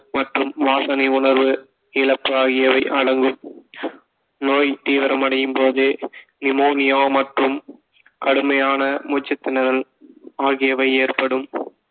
மற்றும் வாசனை உணர்வு இழப்பு ஆகியவை அடங்கும் நோய் தீவிரமடையும் போது நிமோனியா மற்றும் கடுமையான மூச்சுத்திணறல் ஆகியவை ஏற்படும்